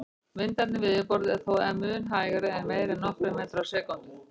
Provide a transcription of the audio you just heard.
Vindarnir við yfirborðið eru þó mun hægari, ekki meira en nokkrir metrar á sekúndu.